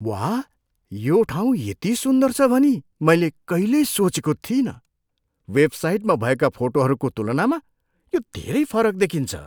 वाह! यो ठाउँ यति सुन्दर छ भनी मैले कहिल्यै सोचेको थिइनँ। वेबसाइटमा भएका फोटोहरूको तुलनामा यो धेरै फरक देखिन्छ।